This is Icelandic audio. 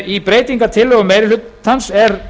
í breytingartillögum meiri hlutans er